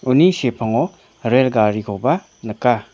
uni sepango rel garikoba nika.